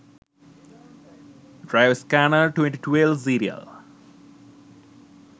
driver scanner 2012 serial